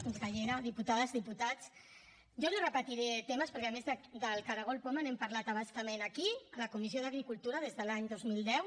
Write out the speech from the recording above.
consellera diputades diputats jo no repetiré temes perquè a més del caragol poma n’hem parlat a bastament aquí a la comissió d’agricultura des de l’any dos mil deu